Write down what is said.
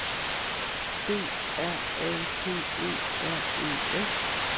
D R A P E R E S